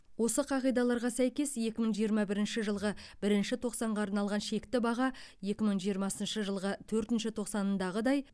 осы қағидаларға сәйкес екі мың жиырма бірінші жылғы бірінші тоқсанға арналған шекті баға екі мың жиырмасыншы жылғы төртінші тоқсандағыдай